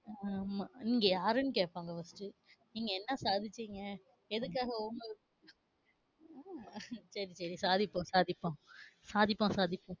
ஆஹ் நீங்க யாருனு கேப்பாங்க. நீங்க என்ன சாதிச்சீங்க? ஏதுக்காக சரி, சரி சாதிப்போம் சாதிப்போம் சாதிப்போம் சாதிப்போம்.